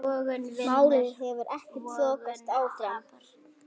Málið hefur ekkert þokast áfram.